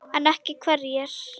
En ekki hverjir?